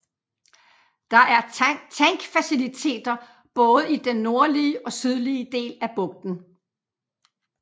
Der er tankfaciliteter både i den nordlige og sydlige del af bugten